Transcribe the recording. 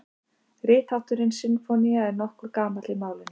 Rithátturinn sinfónía er nokkuð gamall í málinu.